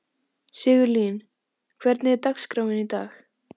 Sigurlín, hvernig er dagskráin í dag?